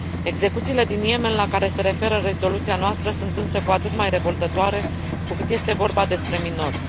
Execuțiile din Yemen, la care se referă rezoluția noastră, sunt însă cu atât mai revoltătoare cu cât este vorba despre minori.